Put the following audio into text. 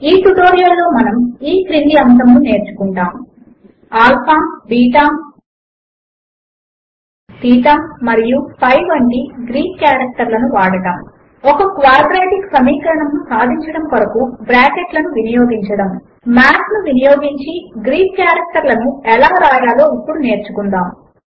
ఈ ట్యుటోరియల్ లో మనము ఈ క్రింది అంశములు నేర్చుకుంటాము ఆల్ఫా బీటా తీటా మరియు పై వంటి గ్రీక్ కారెక్టర్లను వాడడము ఒక క్వాడ్రాటిక్ సమీకరణమును సాధించడము కొరకు బ్రాకెట్లను వినియోగించడము మాత్ ను వినియోగించి గ్రీక్ కారెక్టర్లను ఎలా వ్రాయాలో ఇప్పుడు నేర్చుకుందాము